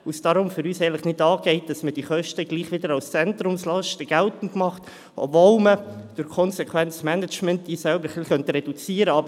Deswegen geht es für uns nicht an, dass diese Kosten gleichwohl wiederum als Zentrumslasten geltend gemacht werden, obwohl man diese mit einem konsequenten Management selber etwas reduzieren könnte.